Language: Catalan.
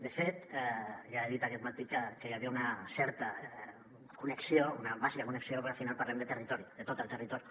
de fet ja he dit aquest matí que hi havia una certa connexió una bàsica connexió perquè al final parlem de territori de tot el territori